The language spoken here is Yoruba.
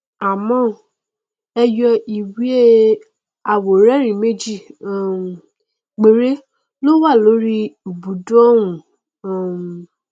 àmọ ẹyọ iwé aworẹrin méjì um péré ló wà lórí ìbùdó ọhún o um